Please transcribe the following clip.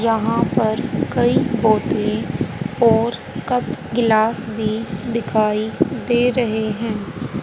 यहां पर कई पौधे और कप गिलास भी दिखाई दे रहे हैं।